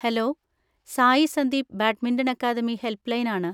Hello! Sai Sandeep badminton academy helpline ആണ്.